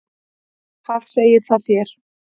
Hvað segir það þér?